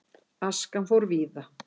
Askan fór víða.